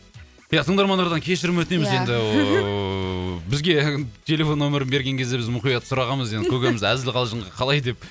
ия тыңдармандардан кешірім өтінеміз енді ыыы бізге телефон нөмірін берген кезде біз мұқият сұрағанбыз енді көкеміз әзіл қалжыңға қалай деп